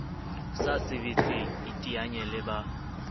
sa sebetseng iteanye le ba